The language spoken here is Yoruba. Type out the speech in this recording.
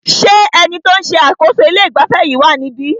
Ṣé ẹni tí o ń ṣe àkóso ilé ìgbafẹ́ yìí wá níbí?